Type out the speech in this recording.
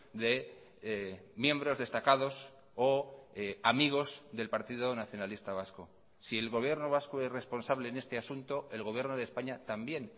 de miembros destacados o amigos del partido nacionalista vasco si el gobierno vasco es responsable en este asunto el gobierno de españa también